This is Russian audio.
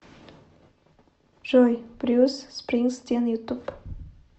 джой брюс спрингстин ютуб